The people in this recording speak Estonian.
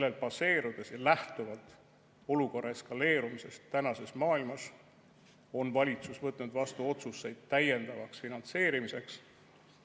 Sellel baseerudes ja lähtuvalt olukorra eskaleerumisest tänases maailmas on valitsus võtnud vastu otsuseid täiendavaks finantseerimiseks.